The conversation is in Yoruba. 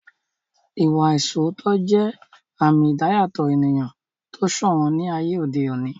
Ìwà ìṣoótọ́ jẹ́ àmì ìdáyàtọ̀ ènìyàn tó sòwọ́n ní ayé òde òní